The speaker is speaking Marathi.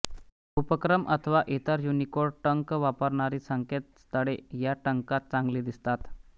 उपक्रम अथवा इतर युनिकोड टंक वापरणारी संकेतस्थळे या टंकात चांगली दिसतात